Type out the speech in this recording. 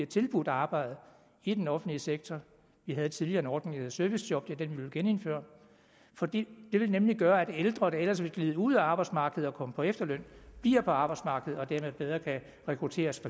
tilbudt arbejde i den offentlige sektor vi havde tidligere en ordning om servicejob og det er den vi vil genindføre for det vil nemlig gøre at ældre der ellers ville glide ud af arbejdsmarkedet og komme på efterløn bliver på arbejdsmarkedet og dermed bedre kan rekrutteres